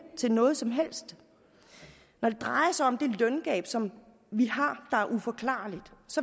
til noget som helst når det drejer sig om det løngab som vi har er uforklarligt